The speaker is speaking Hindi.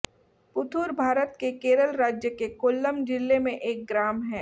पुथूर भारत के केरल राज्य के कोल्लम जिले में एक ग्राम है